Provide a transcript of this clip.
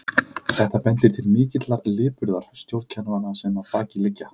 Þetta bendir til mikillar lipurðar stjórnkerfanna sem að baki liggja.